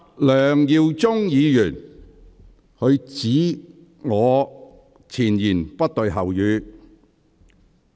梁耀忠議員指我前言不對後語。